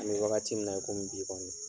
A bɛ wagati min na i komi bi kɔni.